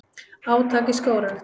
Átak í skógrækt